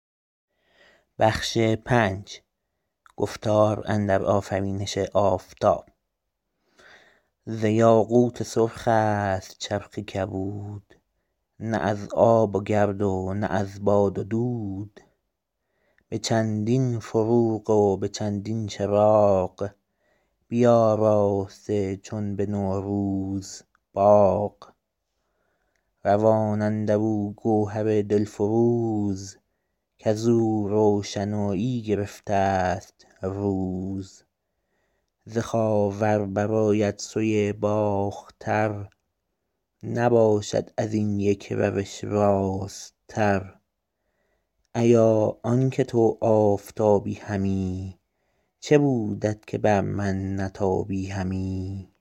ز یاقوت سرخ است چرخ کبود نه از آب و گرد و نه از باد و دود به چندین فروغ و به چندین چراغ بیاراسته چون به نوروز باغ روان اندر او گوهر دل فروز کز او روشنایی گرفته است روز ز خاور بر آید سوی باختر نباشد از این یک روش راست تر ایا آن که تو آفتابی همی چه بودت که بر من نتابی همی